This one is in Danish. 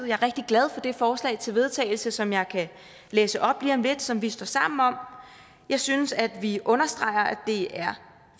er rigtig glad for det forslag til vedtagelse som jeg kan læse op lige om lidt som vi står sammen om jeg synes at vi understreger at det er